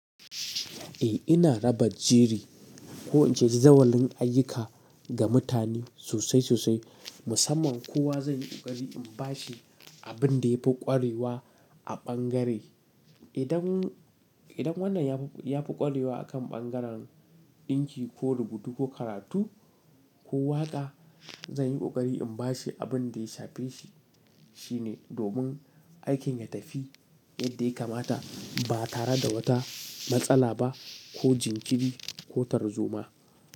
Eh, ina raba jiri ko in ce jazawalin ayyuka ga mutane sosai sosai. Musamman kowa zai yi ƙoƙari in ba shi abin da ya fi ƙwarewa a bangare. Idan, idan wannan ya fi, ya fi ƙwarewa a kan bangaren ɗinki ko rubutu ko karatu ko waƙa, zan yi ƙoƙari in ba shi abin da ya shafe shi. Shine domin aikin ya tafi yadda ya kamata ba tare da wata matsala ba ko jinkiri ko tarzoma.